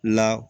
La